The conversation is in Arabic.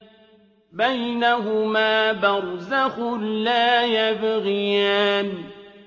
بَيْنَهُمَا بَرْزَخٌ لَّا يَبْغِيَانِ